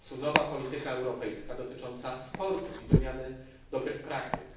To w końcu nowa polityka europejska dotycząca sportu i wymiany dobrych praktyk.